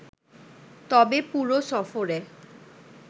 তবে পুরো সফরে